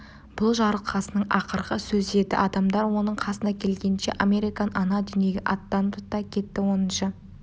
бұл жарылқасынның ақырғы сөзі еді адамдар оның қасына келгенше американ ана дүниеге аттанып та кетті оныншы